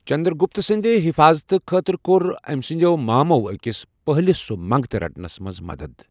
چنٛدرٛگُپت سٕنٛدِ حِفاظتہٕ خٲطرٕ کوٚر أمہِ سٕنٛدٮ۪و مامَو أکِس پٔہلِس سوٗ منٛگتہٕ رٹنَس منٛز مَدد۔